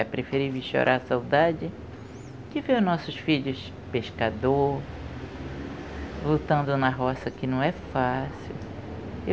É preferível chorar a saudade de ver os nossos filhos pescador, lutando na roça, que não é fácil.